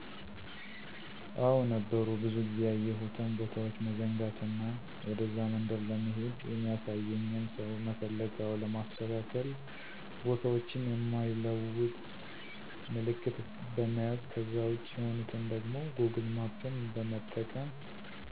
አዎ ነበሩ ብዙ ጊዜ ያየሁትን ቦታዎች መዘንጋት እና ወደዛ መንደር ለመሄድ የሚያሳየኝን ሰው መፈለግ አዎ ለማስተካከል ቦታዎችን የማይለወጥ ምልክት በመያዝ ከዛ ውጭ የሆኑትን ደግሞ ጎግል ማፕን በመጠቀም